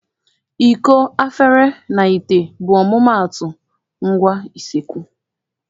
Iko, afere, na ite bụ ọmụmaatụ ngwa useekwu.